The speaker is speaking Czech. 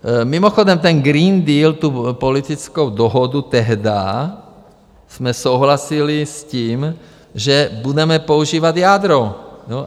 Mimochodem ten Green Deal, tu politickou dohodu, tehdy jsme souhlasili s tím, že budeme používat jádro.